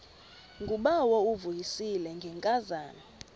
ngubawo uvuyisile ngenkazana